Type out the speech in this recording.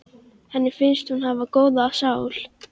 Henni finnst hún hafa góða sál.